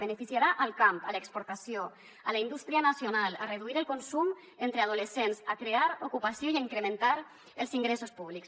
beneficiarà el camp l’exportació la indústria nacional a reduir el consum entre adolescents a crear ocupació i a incrementar els ingressos públics